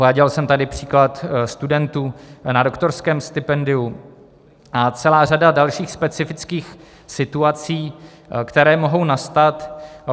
Uváděl jsem tady příklad studentů na doktorském stipendiu a celá řada dalších specifických situaci, které mohou nastat.